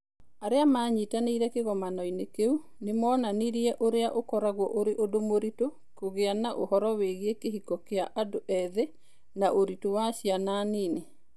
Arĩa maanyitanĩire kĩgomano-inĩ kĩu nĩ moonanirie ũrĩa ũkoragwo ũrĩ ũndũ mũritũ kũgĩa na ũhoro wĩgiĩ kĩhiko kĩa andũ ethĩ na ũritũ wa ciana nini.